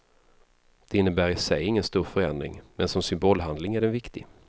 Det innebär i sig ingen stor förändring, men som symbolhandling är den viktig.